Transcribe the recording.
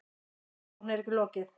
Rannsókn er ekki lokið.